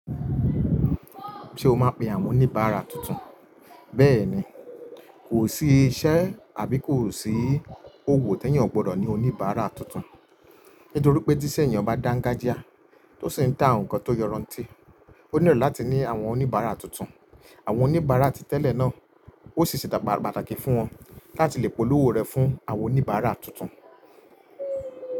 Ṣé o máa pe àwọn oníbàárà tuntun? Bẹ́ẹ̀ni, kò sí iṣẹ́ àbí kò sí òwò tí èèyàn ò gbọdọ̀ ní oníbàárà tuntun. Nítorí pé tíṣẹ́ èèyàn bá dáńgájíá tó sì ń ta nǹkan tó yọrantí, ó nílò láti ní àwọn oníbàárà tuntun. Àwọn oníbàárà ti tẹ́lẹ̀ náà ó ṣèṣì ṣe pàtàkì fún wọn láti lè polówó rẹ̀ fún àwọn oníbàárà tuntun.